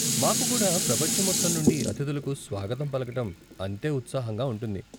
మాకు కూడా ప్రపంచం మొత్తం నుండి అతిధులకు స్వాగతం పలకటం అంతే ఉత్సాహంగా ఉంటుంది.